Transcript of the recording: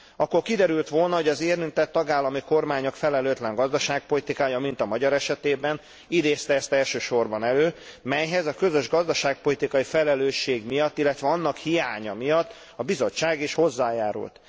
Akkor kiderült volna, hogy az érintett tagállami kormányok felelőtlen gazdaságpolitikája mint a magyar esetében idézte ezt elsősorban elő, melyhez a közös gazdaságpolitikai felelősség miatt, illetve annak hiánya miatt a Bizottság is hozzájárult.